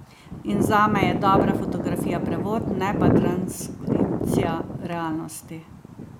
In zame je dobra fotografija prevod, ne pa transkripcija realnosti.